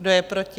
Kdo je proti?